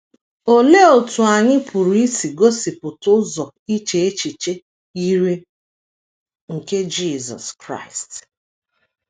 Olee otú anyị pụrụ isi gosipụta ụzọ iche echiche yiri nke Jisọs Kraịst?